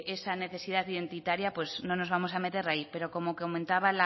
esa necesidad identitaria pues no nos vamos a meter ahí pero que como comentaba